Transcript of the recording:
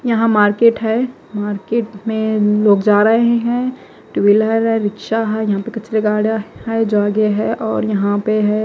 यहां मार्केट है मार्केट में लोग जा रहे हैं टूविलर है रिक्शा है यहां पे कचरे गाडा है जागे है और यहां पे है।